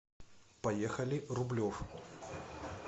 поехали рублев